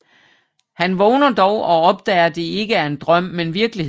Han vågner dog og opdager det ikke er en drøm men virkelighed